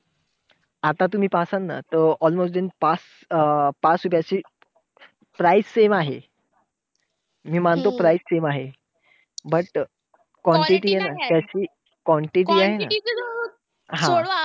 आता तुम्ही पाहतात ना, almost पाच पाच रुपयाची price same आहे. मी मानतो price same आहे. But quantity आहे ना, त्याची quantity आहे ना हा.